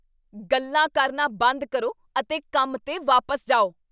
ਗੱਲਾਂ ਕਰਨਾ ਬੰਦ ਕਰੋ ਅਤੇ ਕੰਮ 'ਤੇ ਵਾਪਸ ਜਾਓ!